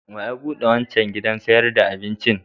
Wa ya buɗe wancan gidan sayar da abincin?